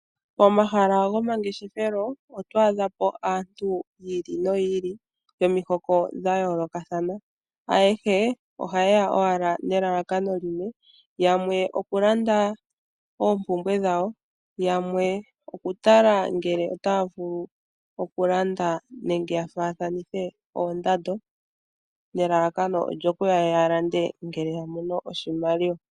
Omahala gomangeshefelo otwadha po aantu yili noyili nomihoko dhayoolokathana. Ayehe ohayeya nelalakano limwe, yamwe okulanda oompumbwe dhawo , yamwe okutala ngele otaya vulu okulanda nenge yafaathanithe oondando nelalakano olyukuya yalande ngele yamono oshimaliwa